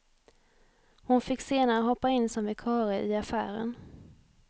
Hon fick senare hoppa in som vikarie i affären.